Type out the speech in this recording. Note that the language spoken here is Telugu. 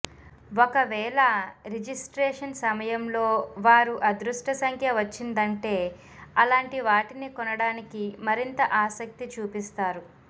ఒక వేళ రిజిస్ట్రేషన్ సమయంలో వారు అదృష్ట సంఖ్య వచ్చిందంటే అలాంటి వాటిని కొనడానికి మరింత ఆసక్తి చూపిస్తారు